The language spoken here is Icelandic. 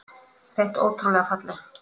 Hreint ótrúlega falleg